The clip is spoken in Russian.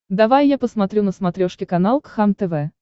давай я посмотрю на смотрешке канал кхлм тв